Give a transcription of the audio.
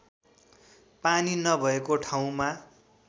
पानी नभएको ठाउँमा